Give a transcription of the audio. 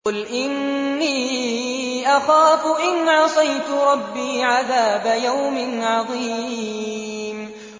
قُلْ إِنِّي أَخَافُ إِنْ عَصَيْتُ رَبِّي عَذَابَ يَوْمٍ عَظِيمٍ